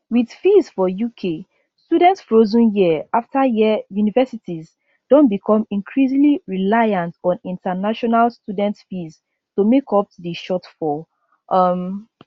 wit fees for uk students frozen year afta year universities don become increasingly reliant on international students fees to make up di shortfall um